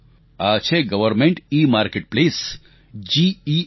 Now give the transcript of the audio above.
આ છે government e marketplace GEM